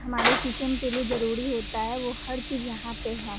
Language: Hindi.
हमारे किचन के लिए जरूरी होता है वो हर चीज यहाँ पे है।